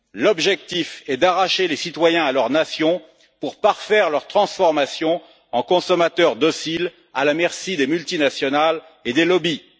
L'objectif est d'arracher les citoyens à leur nation pour parfaire leur transformation en consommateurs dociles, à la merci des multinationales et des lobbies.